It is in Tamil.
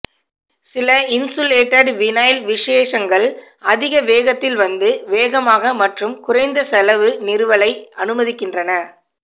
சில இன்சுலேடட் வினைல் விசேஷங்கள் அதிக வேகத்தில் வந்து வேகமாக மற்றும் குறைந்த செலவு நிறுவலை அனுமதிக்கின்றன